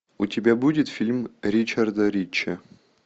у тебя будет фильм ричарда рича